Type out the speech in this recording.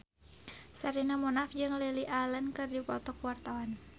Sherina Munaf jeung Lily Allen keur dipoto ku wartawan